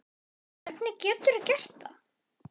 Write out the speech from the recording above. Hvernig getur þú gert það?